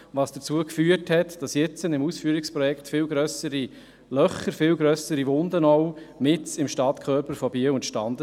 Dies führt dazu, dass jetzt mit dem Ausführungsprojekt viel grössere Löcher, man kann auch sagen Wunden, mitten im Stadtkörper Biels entstehen werden.